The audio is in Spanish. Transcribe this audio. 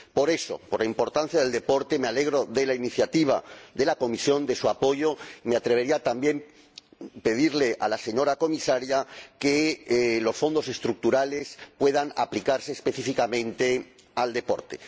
Por eso, por la importancia del deporte, me alegro de la iniciativa de la Comisión, de su apoyo, y me atrevería también a pedirle a la señora Comisaria que los Fondos Estructurales puedan aplicarse específicamente al deporte.